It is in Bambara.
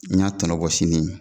N y'a tɔnɔ bɔsi ni nin ye